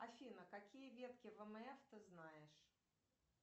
афина какие ветки вмф ты знаешь